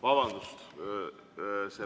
Vabandust!